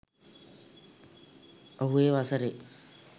ඔහු ඒ වසරේ